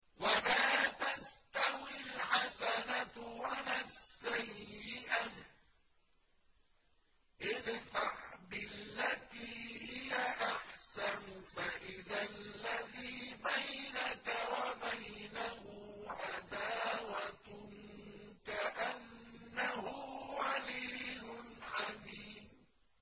وَلَا تَسْتَوِي الْحَسَنَةُ وَلَا السَّيِّئَةُ ۚ ادْفَعْ بِالَّتِي هِيَ أَحْسَنُ فَإِذَا الَّذِي بَيْنَكَ وَبَيْنَهُ عَدَاوَةٌ كَأَنَّهُ وَلِيٌّ حَمِيمٌ